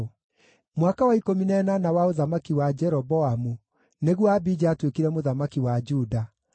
Mwaka wa ikũmi na ĩnana wa ũthamaki wa Jeroboamu nĩguo Abija aatuĩkire mũthamaki wa Juda,